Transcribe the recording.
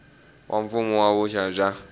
wa mfuwo na vuxaka bya